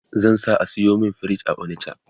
zan sa a sayo min fridge a onicha